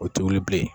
O tɛ wuli bilen